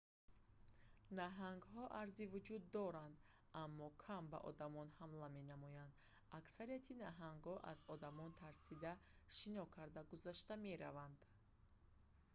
наҳангҳо арзи вуҷуд доранд аммо кам ба одамон ҳамла менамоянд аксари наҳангҳо аз одамон тарсида шино карда гузашта мераванд